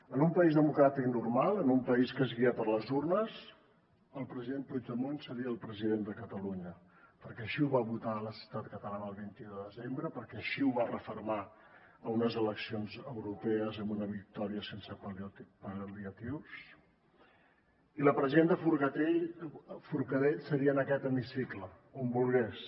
en un país democràtic normal en un país que es guia per les urnes el president puigdemont seria el president de catalunya perquè així ho va votar la societat catalana el vint un de desembre perquè així ho va refermar a unes eleccions europees amb una victòria sense pal·liatius i la presidenta forcadell seria en aquest hemicicle on volgués